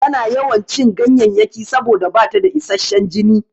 Tana yawan cin ganyayyaki saboda bata da isashshan jini.